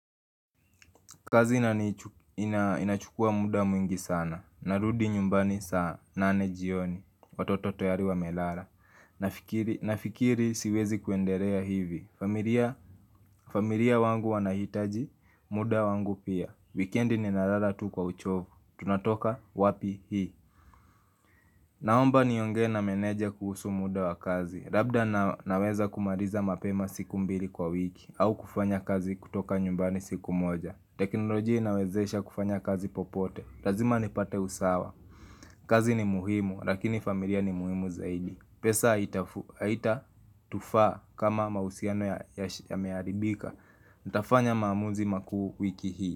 Kazi inachukua muda mwingi sana, narudi nyumbani saa nane jioni, watoto tayari wamelala Nafikiri siwezi kuendelea hivi, familia wangu wanahitaji, muda wangu pia Weekendi ni nalala tu kwa uchovu, tunatoka wapi hii Naomba niongee na meneja kuhusu muda wa kazi, labda naweza kumaliza mapema siku mbili kwa wiki au kufanya kazi kutoka nyumbani siku moja teknolojia inawezesha kufanya kazi popote lazima nipate usawa kazi ni muhimu, lakini familia ni muhimu zaidi pesa haita tufaa kama mahusiano yameharibika Nitafanya maamuzi makuu wiki hii.